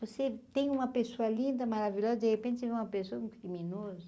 Você tem uma pessoa linda, maravilhosa, de repente vê uma pessoa um criminoso?